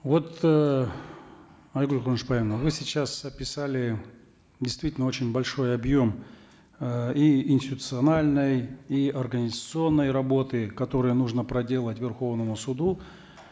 вот э айгуль куанышбаевна вы сейчас описали действительно очень большой объем э и институциональной и организационной работы которую нужно проделать верховному суду